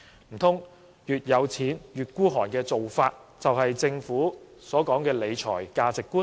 難道越有錢越吝嗇的做法，就是政府所說的理財價值觀？